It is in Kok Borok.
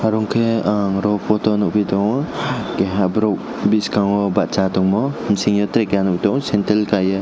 oro ke ang o photo o nogoitongo keha borok biskango basai tongmo biskango tere kaha nogoi tongo sendel kaye.